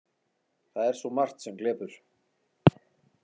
Það er svo margt sem glepur.